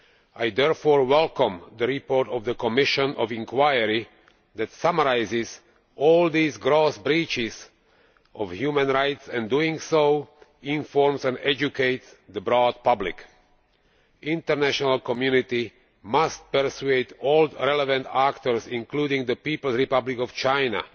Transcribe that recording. I therefore welcome the report of the Commission of Inquiry that summarises all these gross breaches of human rights and in doing so informs and educates the broad public. The international community must persuade all relevant actors, including the People's Republic of China,